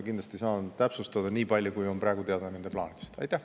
Kindlasti saan nii palju täpsustada, kui on praegu nende plaanidest teada.